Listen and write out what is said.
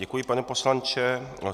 Děkuji, pane poslanče.